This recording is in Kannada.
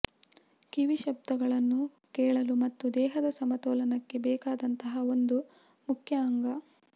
ಕಿವಿ ಶಬ್ದಗಳನ್ನು ಕೇಳಲು ಮತ್ತು ದೇಹದ ಸಮತೋಲನಕ್ಕೆ ಬೇಕಾದಂತಹ ಒಂದು ಮುಖ್ಯ ಅಂಗ